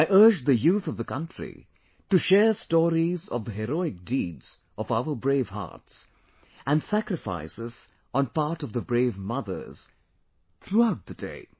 I urge the youth of the country to share stories of the heroic deeds of our brave hearts and sacrifices on part of the brave mothers, throughout the day